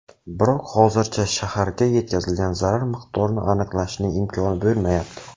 Biroq hozircha shaharga yetkazilgan zarar miqdorini aniqlashning imkoni bo‘lmayapti.